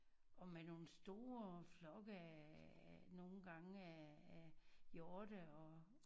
Og med nogen store flokke af af nogen gange af af hjorte og